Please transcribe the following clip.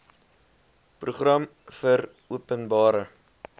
program vir openbare